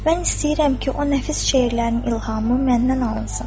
Mən istəyirəm ki, o nəfis şeirlərin ilhamı məndən alınsın.